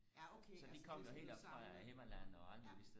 ja okay altså så det er sådan noget samlet ja